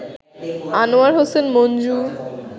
Anwar Hossain Manju